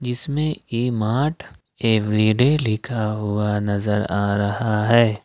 इसमें E Mart Everyday लिखा हुआ नजर आ रहा है।